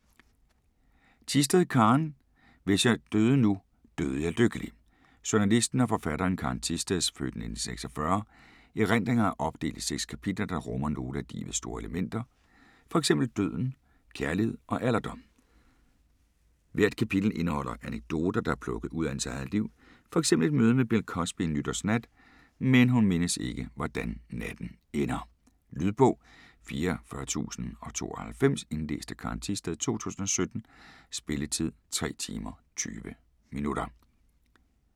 Thisted, Karen: Hvis jeg døde nu døde jeg lykkelig Journalisten og forfatteren Karen Thisteds (f. 1946) erindringer er opdelt i 6 kapitler, der rummer nogle af livets store elementer, fx døden, kærlighed og alderdom. Hvert kapitel indeholder anekdoter, der er plukket ud af hendes liv. Fx et møde med Bill Cosby en nytårsnat, men hun mindes ikke, hvordan natten ender. Lydbog 44092 Indlæst af Karen Thisted, 2017. Spilletid: 3 timer, 20 minutter.